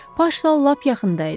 Paç da lap yaxında idi.